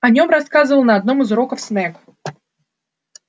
о нём рассказывал на одном из уроков снегг